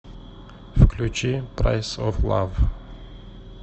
включи прайс оф лав